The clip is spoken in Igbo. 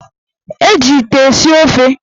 Eji ite esi ofe.